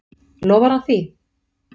Lofar hann því?